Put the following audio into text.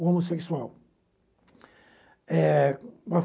O homossexual. Eh